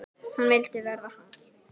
Hún vildi verða hans.